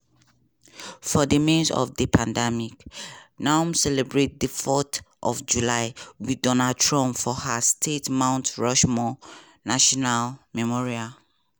for di midst of di pandemic noem celebrate di fourth of july wit donald trump for her state mount rushmore national memorial.